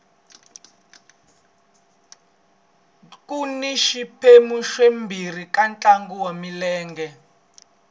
kuni swiphemu swimbirhi ka ntlangu wa milenge